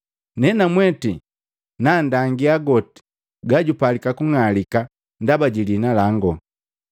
Nenamweti nanndangia goti gajupalika kung'alika ndaba ji liina langu.”